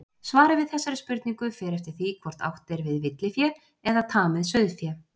Svarið við þessari spurningu fer eftir því hvort átt er við villifé eða tamið sauðfé.